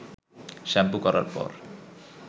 shampoo করার পর